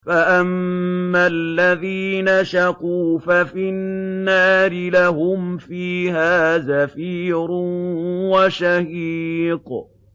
فَأَمَّا الَّذِينَ شَقُوا فَفِي النَّارِ لَهُمْ فِيهَا زَفِيرٌ وَشَهِيقٌ